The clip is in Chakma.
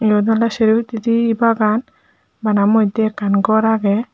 iyot oley sero hittedi bagan bana moddey ekkan gor agey.